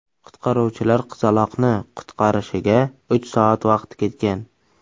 Qutqaruvchilar qizaloqni qutqarishiga uch soat vaqt ketgan.